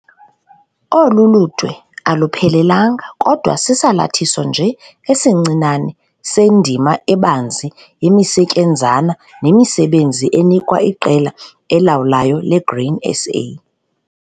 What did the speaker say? Olu ludwe aluphelelanga kodwa sisalathiso nje esincinane sendima ebanzi yemisetyenzana nemisebenzi enikwa iqela elawulayo leGrain SA.